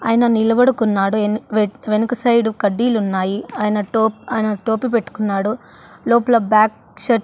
ఆయన నిలబడుకున్నాడు వె వెన్ వెనుక సైడు కడ్డీలున్నాయి ఆయన టో ఆయన టోపీ పెట్టుకున్నాడు లోపల బ్యాక్ .